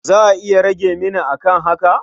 Za a iya rage mini a kan haka?